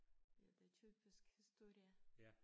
Ja det typisk historie